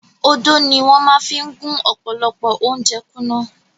Odó ni wọ́n máa fi gún ọ̀pọ̀lọpọ̀ ounjẹ kúnná.